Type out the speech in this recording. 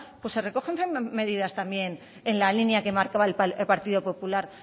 pues se recogen medidas también en la linean que marcaba el partido popular